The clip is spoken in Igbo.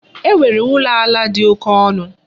E nwere ụlọ ala dị oke ọnụ?